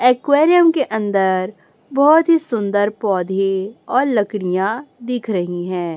Aquarium के अंदर बहुत ही सुंदर पौधे और लकड़ियाँ दिख रही है।